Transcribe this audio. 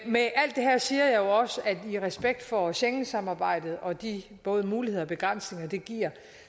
med alt det her siger jeg jo også at i respekt for schengensamarbejdet og de både muligheder og begrænsninger det giver